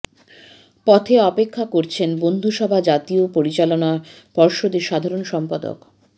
পথে অপেক্ষা করছেন বন্ধুসভা জাতীয় পরিচালনা পর্ষদের সাধারণ সম্পাদক